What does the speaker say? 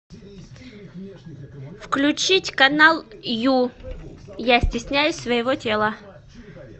включить канал ю я стесняюсь своего тела